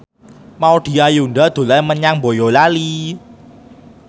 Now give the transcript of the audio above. Maudy Ayunda dolan menyang Boyolali